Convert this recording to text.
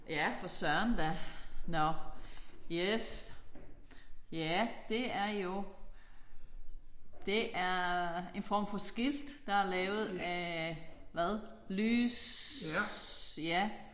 Ja for Søren da! Nåh. Yes. Ja det er jo det er en form for skilt der er lavet af hvad lys